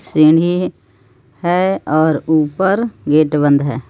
सीढ़ी हे और ऊपर गेट बंध हे.